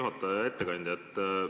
Hea ettekandja!